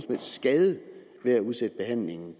helst skade ved at udsætte behandlingen